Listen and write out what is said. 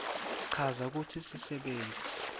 chaza kutsi sisebenti